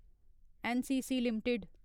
NCC limited